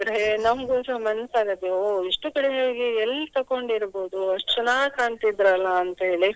ನಮ್ಗೂಸ ಮನ್ಸಗುತ್ತೆ ಇಷ್ಟು ಕಡಿಮೆ ಬೆಲೆಗೆ ಎಲ್ ತಗೊಂಡಿರ್ಬಹುದು ಅಷ್ಟು ಚೆನ್ನಾಗಿ ಕಾಣ್ತಿದ್ರಲಾ ಅಂತ ಹೇಳಿ.